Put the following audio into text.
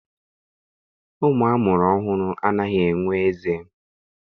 Ụmụ a mụrụ ọhụrụ anaghị enwe eze.